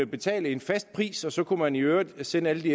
betale en fast pris og så kan man i øvrigt sende alle